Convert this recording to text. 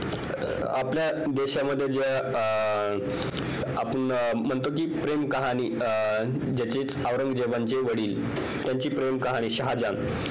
आपल्या देशामध्ये ज्या अं आपण म्हणतो कि प्रेम कहाणी अं औरंगजेबाचे वडील शहाजहान